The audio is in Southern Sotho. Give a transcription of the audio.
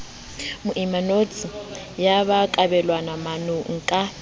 moemanotshi ya ba kabelwamanong ka